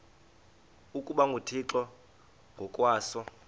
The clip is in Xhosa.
ukuba nguthixo ngokwaso